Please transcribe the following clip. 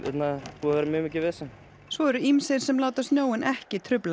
búið að vera mjög mikið vesen svo eru ýmsir sem láta snjóinn ekki trufla